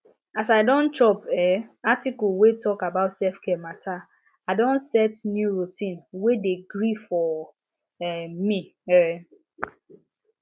as i don chop um article wey talk about selfcare matter i don set new routine wey dey gree for um me um